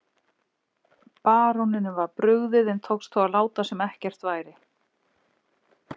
Baróninum var brugðið en tókst þó að láta sem ekkert væri.